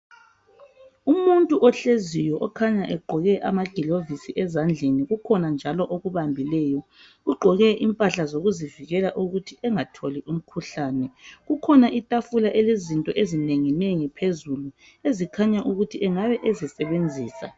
Umuntu ohleziyo okhanya egqoke amagilovisi ezandleni kukhona njalo okubambileyo. Ugqoke impahla zokuzivikela ukuthi engatholi umkhuhlane. Kukhona itafula elezinto ezinenginengi phezulu ezikhanya ukuthi engabe ezisebenzisa.